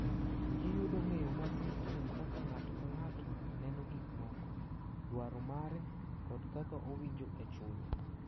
Giyudo ng’eyo matut kuom kaka ng’ato ka ng’ato neno gik moko, dwaro mare, kod kaka owinjo e chunye.